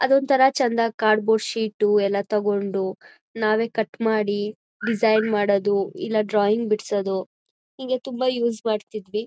ಅದೊಂದ್ ಥರ ಚಂದ ಕಾರ್ಡ್ ಬೋರ್ಡ್ ಶೀಟು ಎಲ್ಲ ತೊಗೊಂಡು ನಾವೇ ಕಟ್ ಮಾಡಿ ಡಿಸೈನ್ ಮಾಡದು ಇಲ್ಲ ಡ್ರಾಯಿಂಗ್ ಬಿಡ್ಸದು ಹೀಗೆ ತುಂಬಾ ಯೂಸ್ ಮಾಡ್ತಿದ್ವಿ.